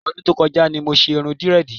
Ọdún tó kọjá ni mo ṣe irun dírẹ́ẹ̀dì.